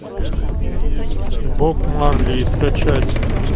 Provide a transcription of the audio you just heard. боб марли скачать